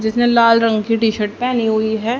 जिसने लाल रंग की टी शर्ट पहनी हुई है।